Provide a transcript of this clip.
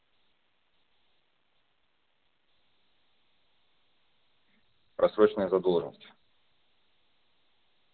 просроченная задолженность